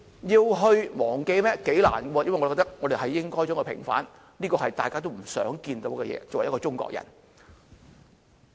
頗困難，我覺得應該要平反，這是大家作為中國人都想看到的事情。